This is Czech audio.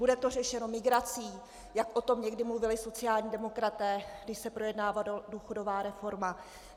Bude to řešeno migrací, jak o tom někdy mluvili sociální demokraté, když se projednávala důchodová reforma?